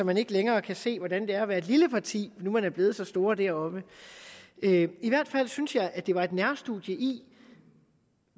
man ikke længere kan se hvordan det er at være et lille parti når nu man er blevet så store deroppe i hvert fald synes jeg det var et nærstudie i